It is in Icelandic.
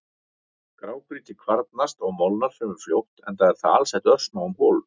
Grágrýti kvarnast og molnar fremur fljótt enda er það alsett örsmáum holum.